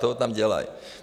Ten tam dělají.